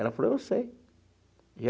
Ela falou, eu sei.